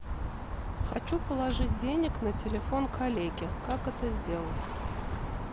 хочу положить денег на телефон коллеге как это сделать